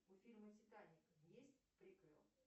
у фильма титаник есть приквел